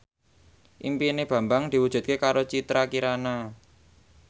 impine Bambang diwujudke karo Citra Kirana